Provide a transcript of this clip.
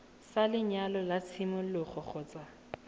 sa lenyalo sa tshimologo kgotsa